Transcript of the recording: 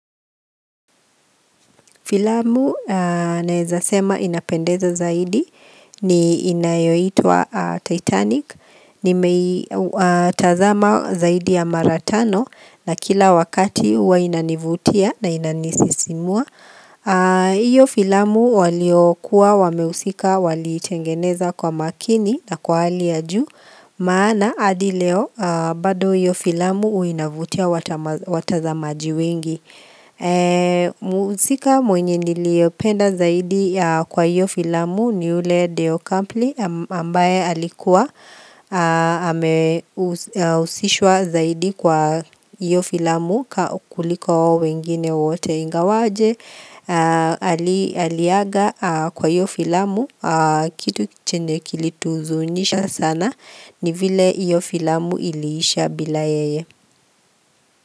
Filamu naeza sema inapendeza zaidi, ni inayoitwa Titanic, nimeitazama zaidi ya mara tano na kila wakati huwa inanivutia na inanisisimua. Hiyo filamu waliokuwa, wamehusika, waliitengeneza kwa makini na kwa hali ya juu, maana hadi leo bado hiyo filamu uinavutia watazamaji wengi. Mhusika mwenye niliopenda zaidi kwa iyo filamu ni ule deo kampli ambaye alikuwa amehusishwa zaidi kwa iyo filamu kukuliko wengine wote ingawaje Aliaga kwa iyo filamu kitu chenye kilituhuzunisha sana ni vile hiyo filamu ilisha bila yeye.